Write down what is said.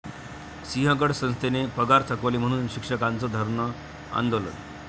सिंहगड संस्थेनं पगार थकवले म्हणून शिक्षकांचं धरणं आंदोलन